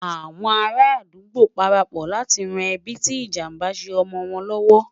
àwọn ará adugbo parapò láti ràn ẹbi tí ìjàmbá ṣé omọ wọn l'ọwọ